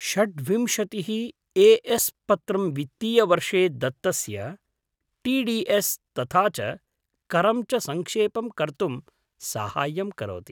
षड्विंशतिः A S पत्रं वित्तीयवर्षे दत्तस्य टी डी एस् तथा च करं च सङ्क्षेपं कर्तुं सहाय्यं करोति।